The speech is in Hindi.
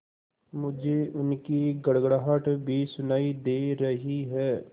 मुझे उनकी गड़गड़ाहट भी सुनाई दे रही है